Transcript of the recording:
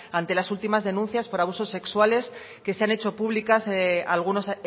ante las últimas denuncias por abusos sexuales que se han hecho públicas algunos